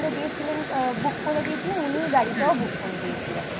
গুলর arrange করে দিয়েছিলেন book করে দিয়েছিলেন উনিই গাড়িটা book করে দিয়েছিলেন